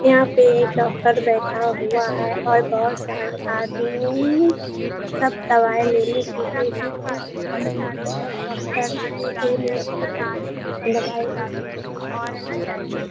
यहाँ पे एक डॉक्टर बैठा हुआ है और बहुत सारे आदमी सब दवाई लेने के लिए डॉक्टर के पास आए और डॉक्टर सीधे मुँह --